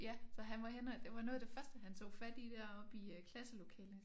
Ja så han var henne og det var noget af det første han tog fat i deroppe i øh klasselokalet